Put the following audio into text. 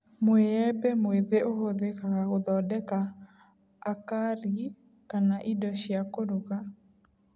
Mũĩembe mwĩthĩ ũhũthĩkaga gũthondeka acari kana indo cia kũruga